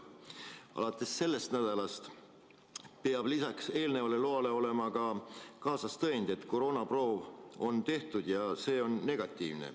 Alates sellest nädalast peab lisaks sellele loale olema kaasas ka tõend, et koroonaproov on tehtud ja see on negatiivne.